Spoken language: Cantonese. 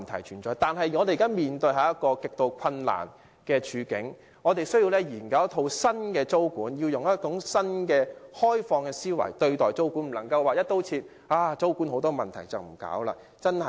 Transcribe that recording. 然而，我們現時面對一個極度困難的處境，需要研究一套新的租管制度，以嶄新的開放思維，不能因為租管以往有很多問題就"一刀切"放棄不做。